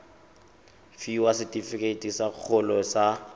fiwa setefikeiti sa kgololo sa